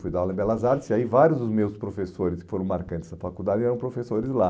Fui dar aula em Belas Artes e aí vários dos meus professores que foram marcantes da faculdade eram professores lá.